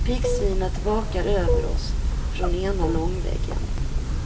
Piggsvinet vakar över oss från ena långväggen.